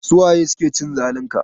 Su waye suke cin zalin ka?